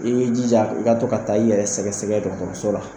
I be jija i ka to ka taa i yɛrɛ sɛgɛsɛgɛ dɔgɔtɔrɔso la.